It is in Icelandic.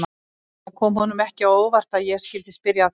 Það kom honum ekki á óvart að ég skyldi spyrja að þessu.